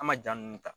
An ma jaa nunnu ta